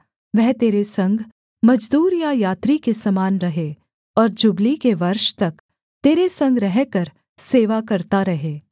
वह तेरे संग मजदूर या यात्री के समान रहे और जुबली के वर्ष तक तेरे संग रहकर सेवा करता रहे